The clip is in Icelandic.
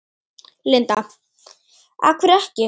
Linda: Af hverju ekki?